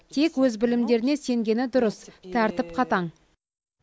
тек өз білімдеріне сенгені дұрыс тәртіп қатаң